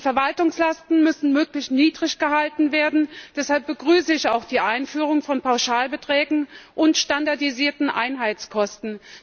Die Verwaltungslasten müssen möglichst niedrig gehalten werden, deshalb begrüße ich auch die Einführung von Pauschalbeträgen und standardisierten Einheitskosten.